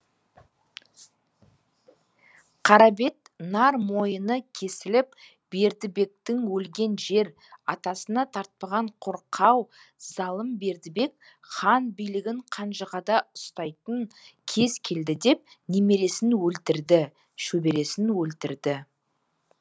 қарабет нар мойыны кесіліп бердібектің өлген жер атасына тартпаған қорқау залым бердібек хан билігін қанжығада ұстайтын кез келді деп немересін өлтірді шөбересін өлтірді